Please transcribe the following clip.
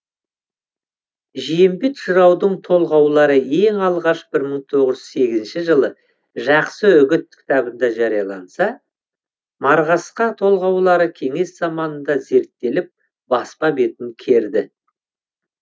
жиембет жыраудың толғаулары ең алғаш бір мың тоғыз жүз сегізінші жылы жақсы үгіт кітабында жарияланса марғасқа толғаулары кеңес заманында зерттеліп баспа бетін керді